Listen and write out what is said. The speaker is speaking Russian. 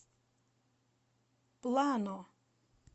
плано